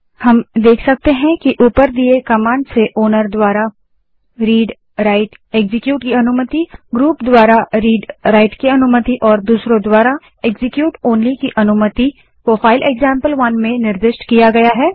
हम देख सकते हैं कि ऊपर दिए कमांड से ओनर द्वारा readwriteएक्जीक्यूट की अनुमति ग्रुप द्वारा readराइट की अनुमति और दूसरों द्वारा execute ओनली की अनुमति को फाइल एक्जाम्पल1 में निर्दिष्ट किया गया है